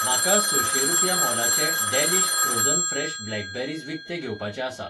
म्हाका सशें रुपया मोलाचें डॅलीश फ्रोझन फ्रेश ब्लॅकबेरीज विकतें घेवपाचें आसा